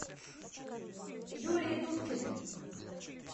юлии дудкиной